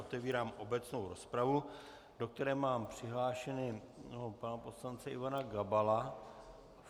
Otevírám obecnou rozpravu, do které mám přihlášeného pana poslance Ivana Gabala.